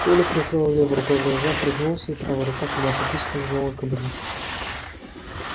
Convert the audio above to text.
коля прикрыл левой рукой глаза пригнулся и правая рука сама собой скользнула к кобуре